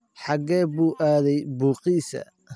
Xaggee buu aaday buugiisii?